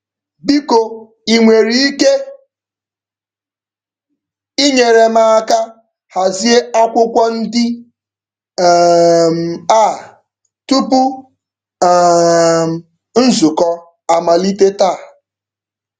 Biko i nwere ike inyere m aka hazie akwụkwọ ndị um a tupu um nzukọ amalite taa?